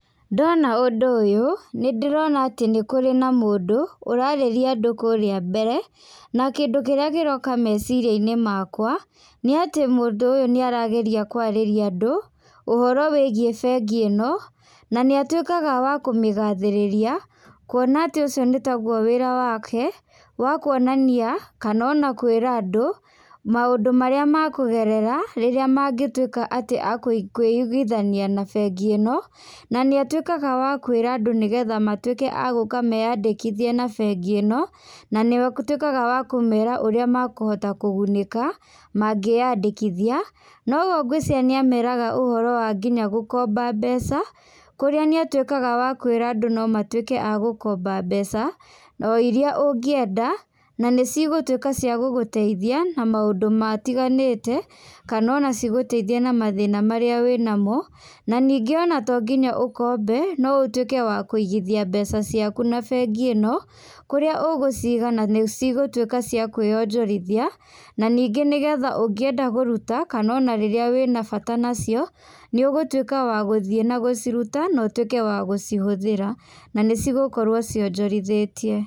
Ndona ũndũ ũyũ, nĩ ndĩrona atĩ nĩ kũrĩ na mũndũ ũrarĩria andũ kũrĩa mbere, na kĩndũ kĩrĩa kĩroka meciria-inĩ makwa, nĩ atĩ mũndũ ũyũ nĩ arageria kwarĩria andũ, ũhoro wĩgiĩ bengi ĩno, na nĩ atuĩkaga wa kũmĩgathĩrĩria, kuona atĩ ũcio nĩ taguo wĩra wake, wa kuonania, kana ona kwĩra andũ, maũndũ marĩa makũgerera, rĩrĩa mangĩtuĩka atĩ akwĩiguithania na bengi ĩno, na nĩ atuĩkaga wa kuĩra andũ nĩgetha matuĩke a gũka meyandĩkithie na bengi ĩno, na nĩ atuĩkaga akũmera ũrĩa makũgunĩka, mangĩyandĩkithia, noguo ngwĩciria nĩ ameraga ũhoro wa nginya gũkomba mbeca, kũrĩa nĩ atuĩkaga wa kwĩra andũ no matuĩke agũkomba mbeca, o iria ũngĩenda, na nicigũtuĩka cia gũgũteithia, na maũndũ matiganĩte, kana ona cigũteithie na mathĩna marĩa wĩ namo, na ningĩ ona to nginya ũkombe, no ũtuĩke wa kũigithia mbeca ciaku na bengi ĩno, kũrĩa ũgũciga na nĩ cigũtuĩka cia kwĩyonjorithia, na ningĩ nĩgetha ũngĩenda kũruta kana ona rĩrĩa wĩna bata nacio, nĩ ũgũtuĩka wa gũthiĩ na gũciruta, notwĩke wa gũcihũthĩra na nĩ cigũkorwo cionjorithĩtie.